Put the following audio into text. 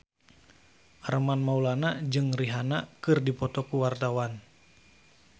Armand Maulana jeung Rihanna keur dipoto ku wartawan